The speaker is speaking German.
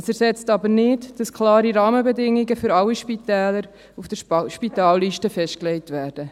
Es ersetzt aber nicht, dass für alle Spitäler klare Rahmenbedingungen auf der Spitalliste festgelegt werden.